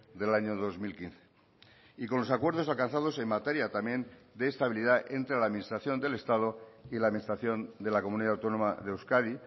del año dos mil quince y con los acuerdos alcanzados en materia también de estabilidad entre la administración del estado y la administración de la comunidad autónoma de euskadi